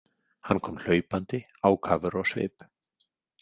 Hann kom hlaupandi ákafur á svip.